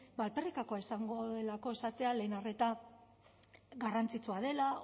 ba alferrikakoa izango delako esatea lehen arreta garrantzitsua dela